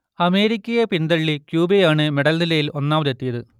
അമേരിക്കയെ പിന്തള്ളി ക്യൂബയാണ് മെഡൽനിലയിൽ ഒന്നാമതെത്തിയത്